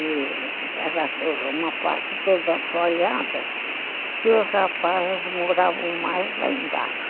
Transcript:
Era uma parte toda assolada, que os rapazes moravam mais lá embaixo.